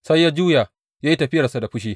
Sai ya juya ya yi tafiyarsa da fushi.